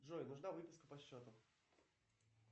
джой нужна выписка по счету